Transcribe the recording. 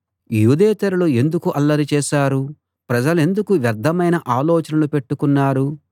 యూదేతరులు ఎందుకు అల్లరి చేశారు ప్రజలెందుకు వ్యర్థమైన ఆలోచనలు పెట్టుకున్నారు